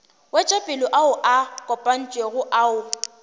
wetšopele ao a kopantšwego ao